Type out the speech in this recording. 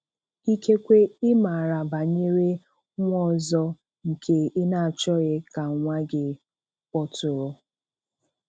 Ikekwe ị maara banyere nwa ọzọ nke ị na-achọghị ka nwa gị kpọtụrụ.